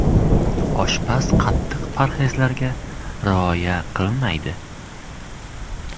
Oshpaz qattiq parhezlarga rioya qilmaydi.